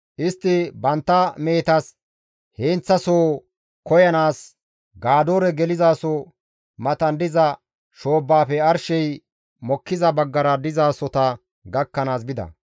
Istti bantta mehetas heenththasoho koyanaas Gadoore gelizaso matan diza shoobbaafe arshey mokkiza baggara dizasota gakkanaas bida.